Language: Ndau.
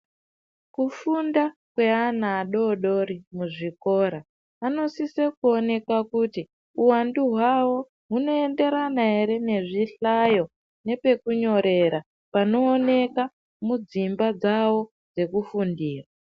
Kufunda kweana adoodori muzvikora anosise kuoneke kuti uwandu hwawo hunoenderana ere nezvihlayo nepekunyorera panooneka mudzimba dzawo dzekufundira